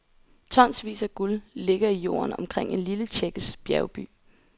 Tonsvis af guld ligger i jorden omkring en lille tjekkisk bjergby.